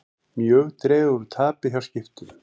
Mjög dregur úr tapi hjá Skiptum